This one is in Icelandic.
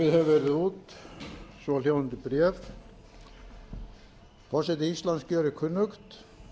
gefið hefur verið út svohljóðandi bréf forseti íslands gjörir kunnugt